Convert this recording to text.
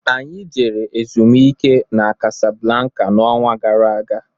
Anyị jere ezumike n'Kasablanka n'ọnwa gara aga